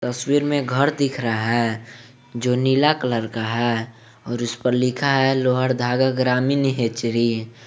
तस्वीर में घर दिख रहा है जो नीला कलर का है और इस पर लिखा है लोअर दगा ग्रामीण हेचरी।